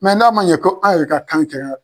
Nka n'a man ɲɛ ko an yɛrɛ ka kan kɛra